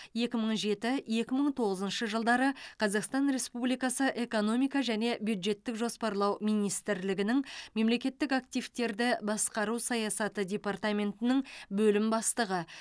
екі мың жеті екі мың тоғызыншы жылдары қазақстан республикасы экономика және бюджеттік жоспарлау министрлігінің мемлекеттік активтерді басқару саясаты департаментінің бөлімі бастығы